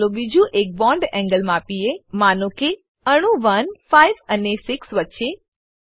ચાલો બીજું એક bond એન્ગલ માપીએ માનો કે અણુ 1 5 અને 6 વચ્ચે